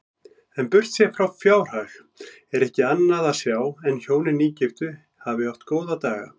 En burtséð frá fjárhag er ekki annað sjá en hjónin nýgiftu hafi átt góða daga.